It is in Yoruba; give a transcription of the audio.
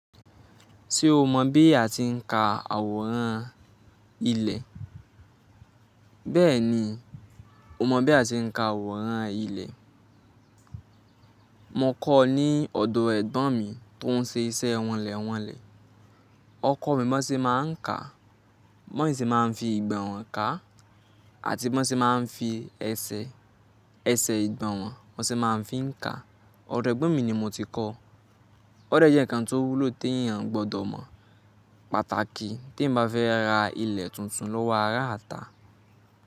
Tí o mọ̀ bí a ti ń ka àwòrán ilẹ̀, bẹ́ẹ̀ ni o mọ̀ bí a ti ń ka àwòrán ilẹ̀. Mo kọ́ ọ ní ọ̀dọ ẹ̀gbọ́n mi tó ń ṣe iṣẹ́ wọnlẹ̀wọnlẹ̀. O Ọkọ mi bo se máa ń ka, mo i se máa ń fi ìgbọ̀nwọ́ ká àti bo se máa ń fi ẹsẹ̀, ẹsẹ̀ ìgbọ̀nwọ́ bo se máa ń fi ń ka. O Odo ẹgbon mi ni mo ti kọ́. O Ode jẹ́ ǹkan tó wúlò tí èèyàn gbọdọ̀ mọ̀ pàtàkì tí emi bá fẹ́ ra ilẹ̀ tuntun lọ́wọ́ ará ata.